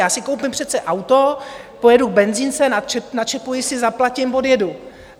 Já si koupím přece auto, pojedu k benzince, načepuji si, zaplatím, odjedu.